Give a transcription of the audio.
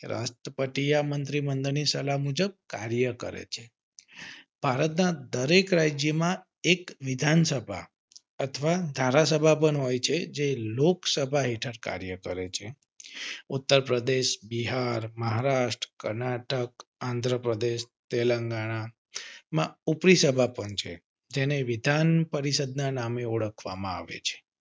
ઉત્તર પ્રદેશ, બિહાર, મહારાષ્ટ્ર, કર્ણાટક, આન્ધ્ર પ્રદેશ, તેલંગાના માં ઉપરી સભા પણ છે જેને વિધાન પરિષદના નામે ઓળખવામાં આવે છે.